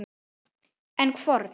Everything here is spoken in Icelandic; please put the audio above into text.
En hvorn?